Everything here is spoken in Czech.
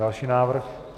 Další návrh.